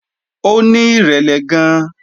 Ó ní ìrẹ̀lẹ̀ gan-an